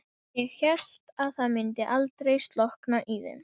Þegar tunnan var orðin full var kallað TAKA TUNNU!